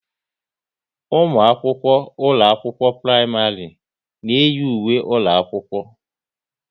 Ụmụ akwụkwọ ụlọ akwụkwọ praịmarị na iyi ùwé ụlọ akwụkwọ